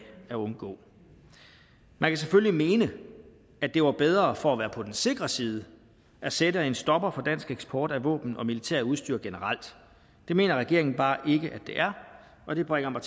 at undgå man kan selvfølgelig mene at det var bedre for at være på den sikre side at sætte en stopper for dansk eksport af våben og militært udstyr generelt det mener regeringen bare ikke at det er og det bringer mig